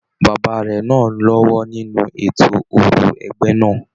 Bàbá rẹ náà l'ọwọ nínú ètò òrò ẹgbẹ náà.